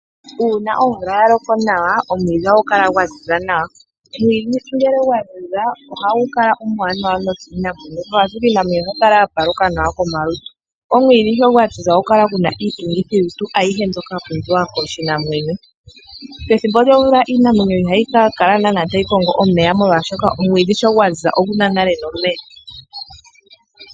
Uuna omvula ya loko nawa omwiidhi ohagu kala gwa ziza nawa. Omwiidhi ngele gwa ziza ohagu kala omwanawa nokiinamwenyo ashike iinamwenyo ohayi kala ya paluka nawa komalutu. Omwiidhi sho gwa ziza ohagu kala gu na iitungithilutu ayihe mbyoka ya pumbiwa kiinamwenyo. Pethimbo lyomvula iinamwenyo ihayi ka kala nana tayi kongo omeya molwaashoka omwidhi sho gwa ziza ogu na nale nomeya.